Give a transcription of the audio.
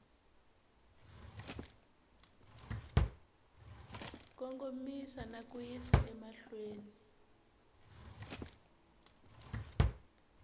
kongomisa na ku yisa emahlweni